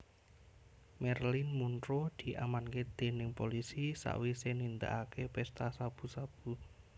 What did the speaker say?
Marilyn Monroe diamanke dening polisi sakwise nindakake pesta sabu sabu